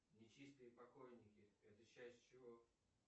нечистые покойники это часть чего